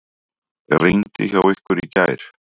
Rigndi hjá ykkur í gær?